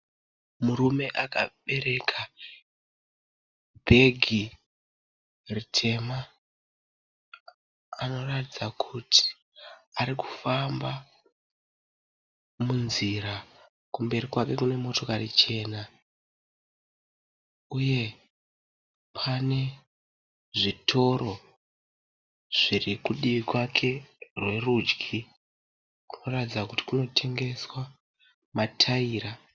Murume akabereka bhegi ritema anoratidza kuti arikufamba munzira kumberi kwake kune motokari chena uye pane zvitoro zviri kudivi kwake rwerudyi kunoratidza kuti kunotengeswa mataira